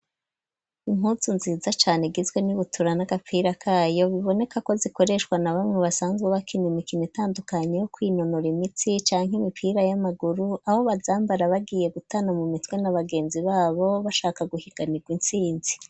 Impuzu nziza cane, igizwe n'ibutura, n'agapira kayo; biboneka ko, zikoreshwa na bamwe, basanzwe bakina, imikino itandukanye, yo kwinonora imitsi, canke imipira y'amaguru; aho bazambara, bagiye gutana mu mitwe, na bagenzi babo, bashaka guhiganirwa, intsinzi.